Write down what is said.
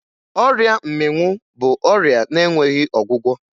Ọrịa mmịnwụ bụ ọrịa na-enweghi ọgwụgwọ